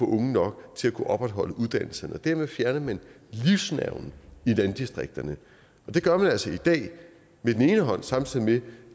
unge nok til at kunne opretholde uddannelserne dermed fjerner man livsnerven i landdistrikterne det gør man altså i dag med den ene hånd samtidig med